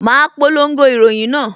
Ma polongo ìròyìn náà